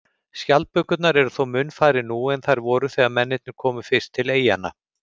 Skjaldbökurnar eru þó mun færri nú en þær voru þegar mennirnir komu fyrst til eyjanna.